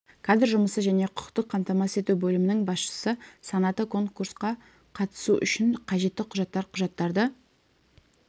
кадр жұмысы және құқықтық қамтамасыз ету бөлімінің басшысы санаты конкурсқа қатысу үшін қажетті құжаттар құжаттарды